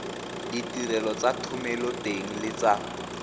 ditirelo tsa thomeloteng le tsa